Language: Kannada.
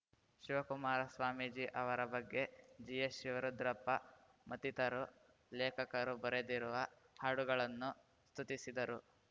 ಶಿವಕುಮಾರಸ್ವಾಮೀಜಿ ಅವರ ಬಗ್ಗೆ ಜಿಎಸ್‌ಶಿವರುದ್ರಪ್ಪ ಮತ್ತಿತರು ಲೇಖಕರು ಬರೆದಿರುವ ಹಾಡುಗಳನ್ನೂ ಸ್ತುತಿಸಿದರು